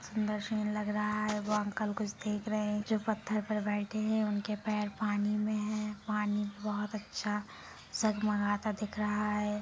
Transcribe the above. सुंदर सीन लग रहा है वो अंकल कुछ देख रहे है जो पत्थर पर बैठे है उनके पैर पानी मे है पानी बहुत अच्छा दिख रहा है।